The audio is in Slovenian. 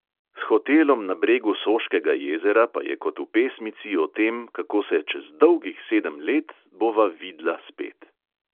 S hotelom na bregu soškega jezera pa je kot v pesmici o tem, kako se "čez dolgih sedem let bova vid"la spet".